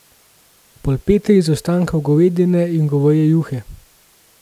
Polpete iz ostankov govedine iz goveje juhe.